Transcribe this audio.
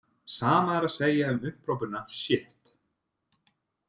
Sama er að segja um upphrópunina sjitt.